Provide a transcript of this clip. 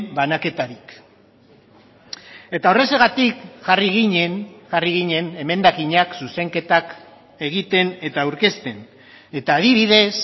banaketarik eta horrexegatik jarri ginen jarri ginen emendakinak zuzenketak egiten eta aurkezten eta adibidez